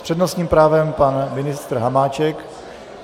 S přednostním právem pan ministr Hamáček.